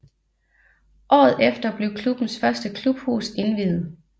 Året efter blev klubbens første klubhus indviet